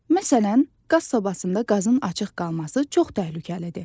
Məsələn, qaz sobasında qazın açıq qalması çox təhlükəlidir.